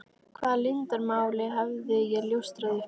Hvaða leyndarmáli hafði ég ljóstrað upp?